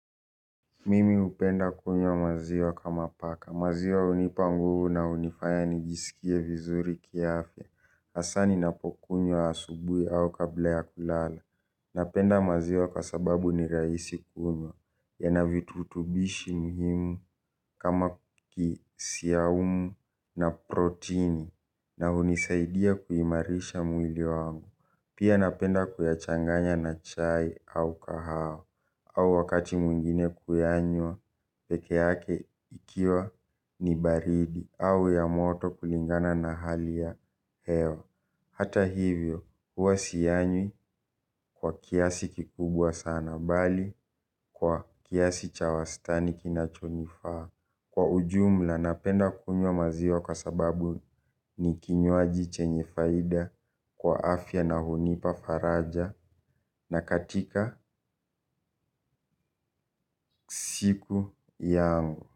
Mimi hupenda kunywa maziwa kama paka, maziwa hunipa nguvu na hunifaya nijisikie vizuri kiafya. Hasa ninapokunywa asubuhi au kabla ya kulala. Napenda maziwa kwa sababu ni rahisi kunywa, yana virutubisho muhimu kama kisiya umu na protini. Na hunisaidia kuimarisha mwili wangu. Pia napenda kuyachanganya na chai au kahawa. Au wakati mwingine kuyanywa pekee yake ikiwa ni baridi au ya moto kulingana na hali ya hewa. Hata hivyo, huwa siyanywi kwa kiasi kikubwa sana bali kwa kiasi cha wastani kinachonifaa. Kwa ujumla, napenda kunywa maziwa kwa sababu ni kinywaji chenye faida kwa afya na hunipa faraja na katika siku yangu.